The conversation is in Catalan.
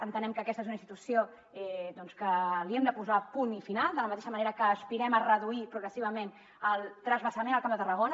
entenem que aquesta és una institució que li hem de posar punt i final de la mateixa manera que aspirem a reduir progressivament el transvasament al camp de tarragona